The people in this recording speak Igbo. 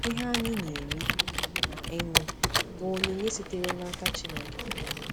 Ihe anyị na-eri na ịṅụ bụ onyinye sitere n’aka Chineke.